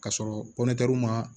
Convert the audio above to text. Ka sɔrɔ ma